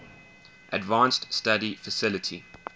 advanced study faculty